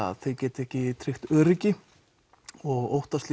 að þeir geti ekki tryggt öryggi og óttast